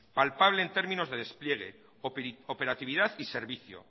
palpable en términos de despliegue operatividad y servicio